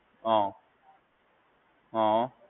હા હા.